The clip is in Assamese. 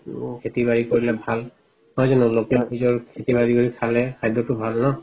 তো খেতি বাৰি কৰিলে ভাল নহয় যানো খেতি বাৰি কৰি খালে খাদ্যটো ভাল ন।